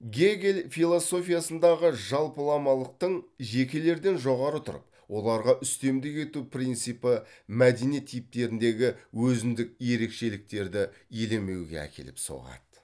гегель философиясындағы жалпыламалықтың жекелерден жоғары тұрып оларға үстемдік ету принципі мәдениет типтеріндегі өзіндік ерекшеліктерді елемеуге әкеліп соғады